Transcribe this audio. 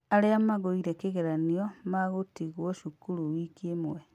Aria magũire kĩgeranio magũtigwo cukuru wiki ĩmwe.